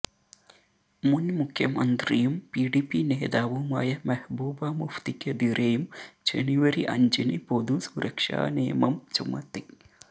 മുന് മുഖ്യമന്ത്രിയും പിഡിപി നേതാവുമായ മെഹ്ബൂബ മുഫ്തിക്കെതിരെയും ജനുവരി അഞ്ചിന് പൊതു സുരക്ഷാ നിയമം ചുമത്തി